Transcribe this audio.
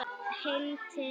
Heim til